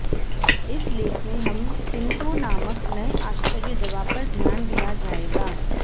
इस लेख में हम टिंटो नामक नए आश्चर्य दवा पर ध्यान दिया जाएगा